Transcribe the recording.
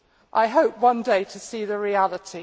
I hope one day to see the reality.